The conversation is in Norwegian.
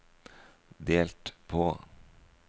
delt på